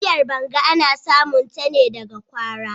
Miyar" banga " ana samun ta ne daga kwara.